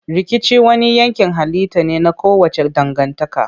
Rikici wani yankin halitta ne na kowace dangantaka.